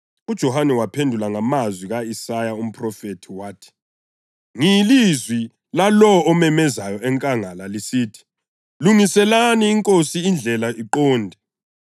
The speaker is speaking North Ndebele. UJohane wabaphendula ngamazwi ka-Isaya umphrofethi wathi, “Ngiyilizwi lalowo omemezayo enkangala lisithi, ‘Lungiselani iNkosi indlela iqonde.’ + 1.23 U-Isaya 40.3”